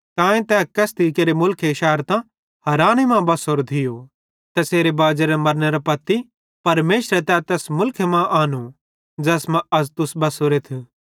तांए तै कसिदी केरे मुलखे शैरतां हाराने मां बसोरो थियो तैसेरे बाजेरे मरनेरां पत्ती परमेशरे तै तैस मुलखे मां आनो ज़ैसमा अज़ तुस बसोरेथ